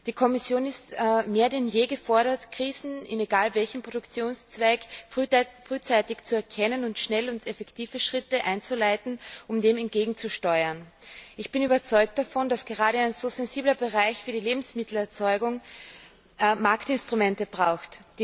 Die Kommission ist mehr denn je gefordert, Krisen unabhängig vom Produktionszweig frühzeitig zu erkennen und schnelle und effektive Schritte einzuleiten, um dem entgegenzusteuern. Ich bin überzeugt davon, dass gerade ein so sensibler Bereich wie die Lebensmittelerzeugung Marktinstrumente braucht.